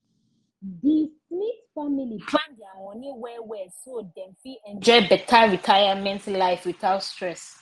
di smith family plan their money well well so dem fit enjoy better retirement life without stress